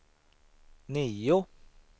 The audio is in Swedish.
nio